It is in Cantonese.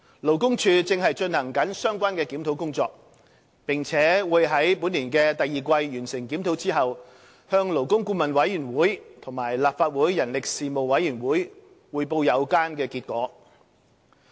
勞工處正進行相關檢討工作，並會在本年第二季完成檢討後向勞工顧問委員會及立法會人力事務委員會匯報有關結果。